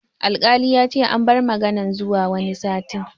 Alkali yace an bar maganan zuwa wani satin